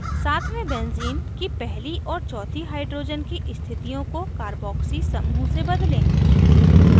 सातवें benzene की पहली और चौथी hydrogen की स्थितियों को carboxy समूह से बदलें